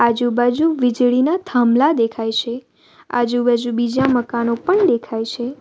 આજુબાજુ વીજળીના થાંભલા દેખાય છે આજુબાજુ બીજા મકાનો પણ દેખાય છે.